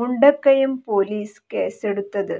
Mundakayam police കേസെടുത്തത്